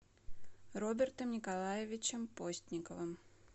робертом николаевичем постниковым